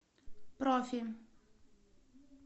профи